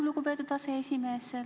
Lugupeetud aseesimees!